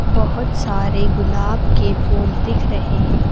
बहुत सारे गुलाब के फूल दिख रहे हैं।